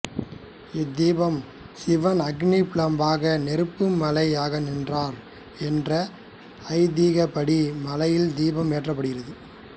இத்தீபம் சிவன் அக்னி பிழம்பாக நெருப்பு மலையாகநின்றார் என்ற ஐதீகப்படி மலையில் தீபம் ஏற்றப்படுகிறது